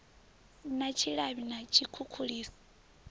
si na tshilavhi na tshikhukhuliso